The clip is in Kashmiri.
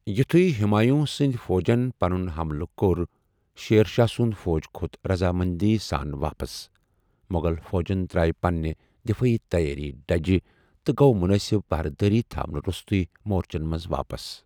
یُتھُیہ ہُمایوٗں سندِ فوجن پنُن ہملہٕ كو٘ر شیر شاہ سُند فوج كھوٚت رضامندی حِسابہٕ پتھ، موٚغل فوجن تر٘اوِ پننہِ دفٲیی تیٲرِیہ ڈیجہِ تہٕ گوٚو مُنٲسِب پہرٕدٲری تھونہٕ رو٘ستُے مورچن منز واپس ۔